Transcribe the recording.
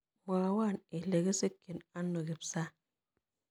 Mwowon ile kigisikchin ano Kipsang